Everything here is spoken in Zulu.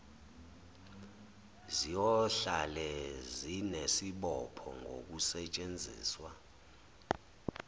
ziyohlale zinesibopho ngokusetshenziswa